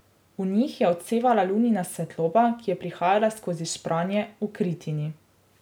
V njih je odsevala lunina svetloba, ki je prihajala skozi špranje v kritini.